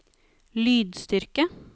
lydstyrke